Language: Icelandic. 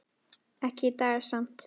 Ekki í dag samt.